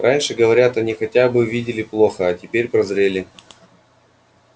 раньше говорят они хотя бы видели плохо а теперь прозрели